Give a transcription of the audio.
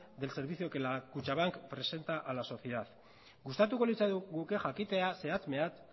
del servicio que kutxabank presenta a la sociedad gustatuko litzaiguke jakitea zehatz mehatz